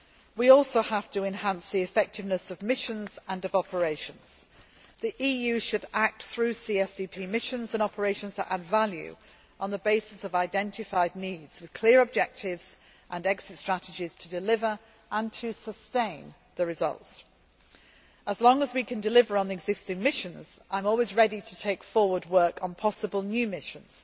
term. We also have to enhance the effectiveness of missions and operations. The EU should act through CSDP missions and operations to add value, on the basis of identified needs, with clear objectives and exit strategies to deliver and sustain results. As long as we can deliver on the existing missions, I am always ready to take forward work on possible new